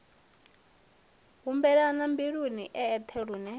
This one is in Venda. humbulela mbiluni e eṱhe lune